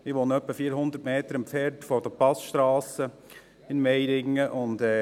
Ich wohne ungefähr 400 Meter von den Passstrassen in Meiringen entfernt.